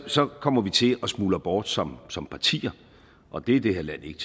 så kommer vi til at smuldre bort som som partier og det er det her land ikke